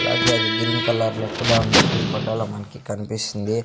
రాగి అది green colour లా కూడా ఉంది ఈ ఫోటోలా మనకి కనిపిస్తుంది.